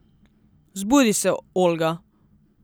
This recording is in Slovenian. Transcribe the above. Zbudi se, Olga.